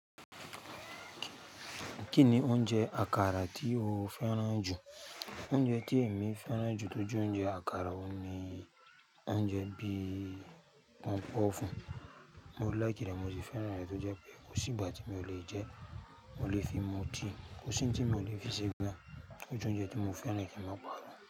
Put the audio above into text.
Kí ni oúnjẹ àkàrà tí o fẹ́ràn jù? Oúnjẹ tí èmi fẹ́ràn jù tó jù oúnjẹ àkàrà òun ni oúnjẹ bí pọnpọ́n fún. Mo láìkì rẹ̀, mo sì fẹ́ràn rẹ̀ tó jẹ́ pé kò sí ìgbà tí mi ò lè jẹ́, mo lè fi mu tea, kò sí ohun tí mi ò lè fi sí i gbà. Ó jẹ́ oúnjẹ tí mo fẹ́ràn kì í má pa fún.